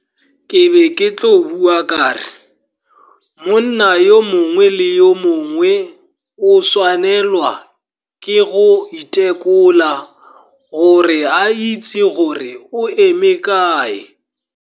Ke be ke tlo bua ka re, monna yo mongwe le yo mongwe o tshwanelwa ke go itekola gore a itse gore o eme kae.